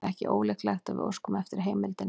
Það er ekki ólíklegt að við óskum eftir heimildinni.